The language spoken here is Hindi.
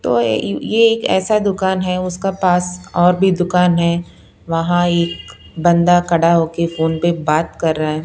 तो ये अ ये अ एक ऐसा दुकान है उसका पास और भी दुकान है वहाँ एक बंदा खड़ा हो के फोन पे बात कर रहा है।